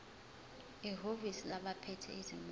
ehhovisi labaphethe izimoto